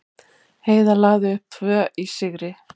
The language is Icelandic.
Heiðar lagði upp tvö í sigri